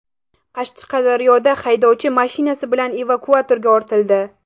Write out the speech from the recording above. Qashqadaryoda haydovchi mashinasi bilan evakuatorga ortildi.